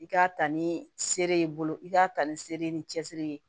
I k'a ta ni seere ye i bolo i k'a ta ni sere ye ni cɛsiri ye